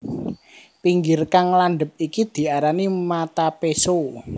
Pinggir kang landhep iki diarani mata péso